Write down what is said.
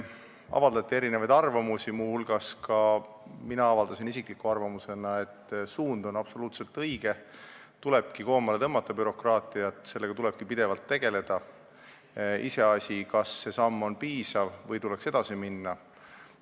Avaldati erinevaid arvamusi, muu hulgas avaldasin mina isiklikku arvamust, et suund on absoluutselt õige, tulebki bürokraatiat koomale tõmmata, sellega tulebki pidevalt tegeleda, kuid on iseasi, kas see samm on piisav või tuleks edasi minna.